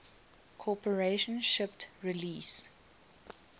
corporation shipped release